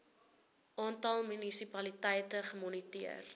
aantal munisipaliteite gemoniteer